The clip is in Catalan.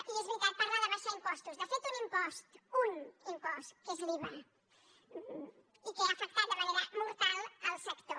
i és veritat parla d’abaixar impostos de fet un impost unés l’iva i que ha afectat de manera mortal el sector